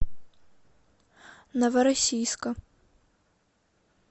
новороссийска